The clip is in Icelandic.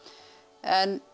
en